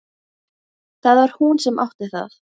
Það var hún sem átti það.